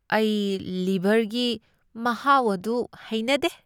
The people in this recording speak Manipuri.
ꯑꯩ ꯂꯤꯚꯔꯒꯤ ꯃꯍꯥꯎ ꯑꯗꯨ ꯍꯩꯅꯗꯦ꯫